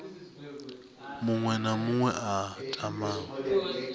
muṅwe na muṅwe a tamaho